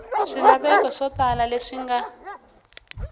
swilaveko swo tala leswi nga